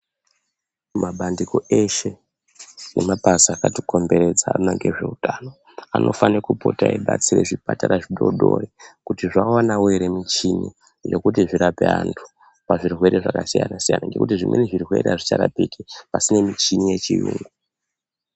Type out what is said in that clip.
Mabandiko eshe nemabazi eshe akatikomberedza anoona ngezveutano anofane kupota eibatsira zvipatara zvidodori kuti zvawanawo here michini yekuti varape vantu pazvirwere zvakasiyana-siyana ngekuti zvimweni zvirwere hazvicharapiki pasine michini yechiyungu.